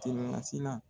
Telimasi la